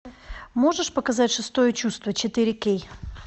можешь показать шестое чувство четыре кей